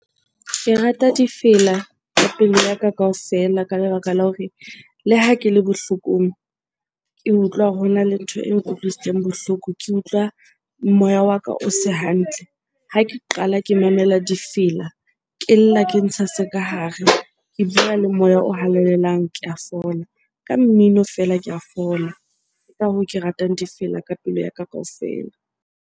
Ke rata difela ka pelo ya ka kaofela ka lebaka la hore le ha ke le bohlokong, ke utlwa hore hona le ntho e nkutlwisitseng bohloko, ke utlwa moya wa ka o se hantle. Ha ke qala ke mamela difela, ke lla ke ntsha se ka hare, ke bua le moya o halalelang ke a fola. Ka mmino feela ke a fola. Ke ka hoo, ke ratang difela ka pelo yaka kaofela.